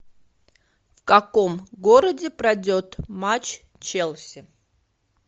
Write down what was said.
в каком городе пройдет матч челси